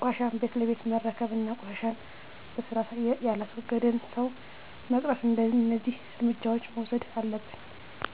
ቆሻሻን ቤት ለቤት መረከብ እና ቆሻሻን በስርአት የላስወገደን ሠው መቅጣት። እደዚህ እርምጃዎች መውሠድ አለብን።